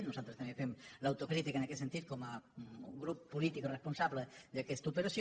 nosaltres també fem l’autocrítica en aquest sentit com a grup polític responsable d’aquesta operació